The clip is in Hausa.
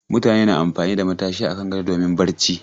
Mutane na amfani da matashi a kan gado domin barci.